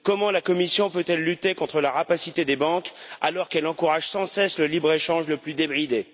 Comment la Commission peut elle lutter contre la rapacité des banques, alors qu'elle encourage sans cesse le libre échange le plus débridé?